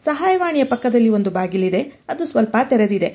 ಸಹಾಯವಾಣಿಯ ಪಕ್ಕದಲ್ಲಿ ಒಂದು ಬಾಗಿಲಿದೆ ಅದು ಸ್ವಲ್ಪ ತೆರೆದಿದೆ.